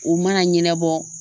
U mana ɲɛnabɔ